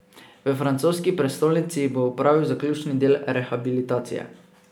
V francoski prestolnici bo opravil zaključni del rehabilitacije.